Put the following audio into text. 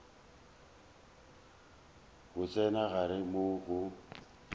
go tsena gare moo go